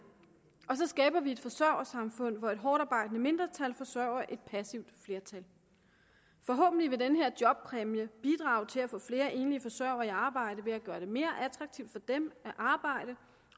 og så skaber vi et forsørgersamfund hvor et hårdtarbejdende mindretal forsørger et passivt flertal forhåbentlig vil den her jobpræmie bidrage til at få flere enlige forsørgere i arbejde ved at gøre det mere attraktivt for dem at arbejde